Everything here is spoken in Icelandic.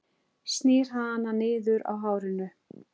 Snýr hana niður á hárinu.